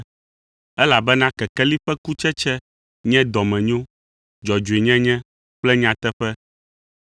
(Elabena kekeli ƒe kutsetse nye dɔmenyo, dzɔdzɔenyenye kple nyateƒe),